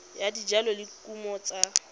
ya dijalo le dikumo tsa